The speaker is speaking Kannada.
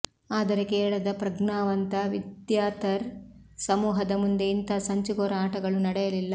ಆದರೆ ಕೇರಳದ ಪ್ರಗ್ನಾವಂತ ವಿದ್ಯಾಥರ್ಿ ಸಮೂಹದ ಮುಂದೆ ಇಂಥ ಸಂಚುಕೋರ ಆಟಗಳು ನಡೆಯಲಿಲ್ಲ